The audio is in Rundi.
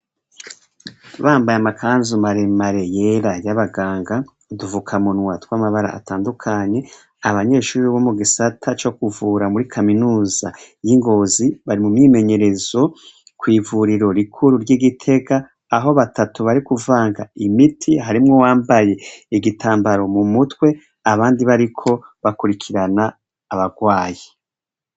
Bambaye amakanzu maremare yera y'abaganga udufuka munwa tw'amabara atandukanye, abanyeshuri bo mu gisata co kuvura muri kaminuza y'i Ngozi bari mu myimenyerezo kwivuriro rikuru ry'I Gitega aho batatu bari kuvanga imiti harimwo uwambaye igitambara mu mutwe abandi bariko bakurikirana abagwayi.